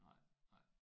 Nej nej